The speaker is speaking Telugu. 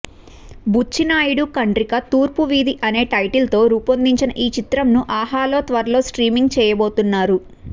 బుచ్చి నాయుడు కండ్రిగ తూర్పు వీధి అనే టైటిల్తో రూపొందిన ఈ చిత్రంను ఆహాలో త్వరలో స్ట్రీమింగ్ చేయబోతున్నారు